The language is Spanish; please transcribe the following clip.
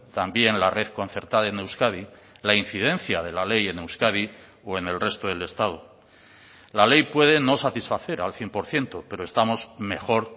también la red concertada en euskadi la incidencia de la ley en euskadi o en el resto del estado la ley puede no satisfacer al cien por ciento pero estamos mejor